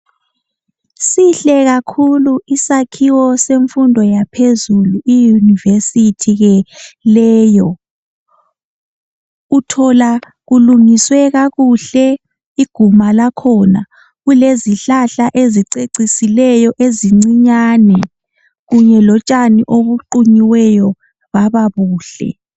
Sihle kakhulu isakhiwo semfundo yaphezulu iUniversity leyo uthola kulungiswe kakuhle iguma lakhona kulezihlahla ezicecisileyo ezincinyane kunye lotshani obuqunyiweyo bababuhle